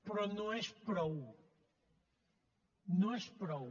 però no és prou no és prou